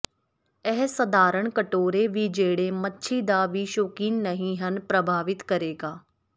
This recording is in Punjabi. ਇਹ ਸਧਾਰਨ ਕਟੋਰੇ ਵੀ ਜਿਹੜੇ ਮੱਛੀ ਦਾ ਵੀ ਸ਼ੌਕੀਨ ਨਹੀ ਹਨ ਪ੍ਰਭਾਵਿਤ ਕਰੇਗਾ